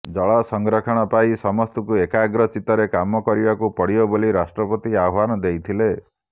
ଜଳ ସଂରକ୍ଷଣ ପାଇଁ ସମସ୍ତଙ୍କୁ ଏକାଗ୍ର ଚିତ୍ତରେ କାମ କରିବାକୁ ପଡ଼ିବ ବୋଲି ରାଷ୍ଟ୍ରପତି ଆହ୍ବାନ ଦେଇଥିଲେ